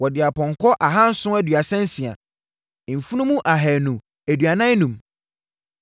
Wɔde apɔnkɔ ahanson aduasa nsia (736), mfunumu ahanu aduanan enum (245),